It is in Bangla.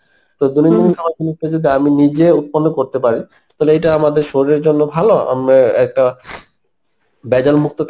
তো দৈনন্দিন খাবার গুনোকে যদি আমি নিজে উৎপন্ন করতে পারি তাহলে এইটা আমাদের শরীরের জন্য ভালো আমরা একটা ভেজাল মুক্ত